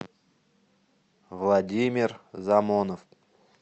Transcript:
владимир замонов